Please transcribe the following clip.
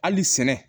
Hali sɛnɛ